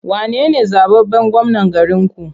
Wane ne zaɓaɓɓen gwamnan garinku?